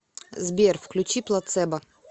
сбер включи плацебо